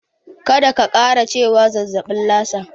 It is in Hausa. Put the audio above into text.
Kada ka ƙara cewa zazzaɓin Lasa.